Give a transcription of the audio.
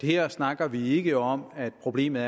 her snakker vi ikke om at problemet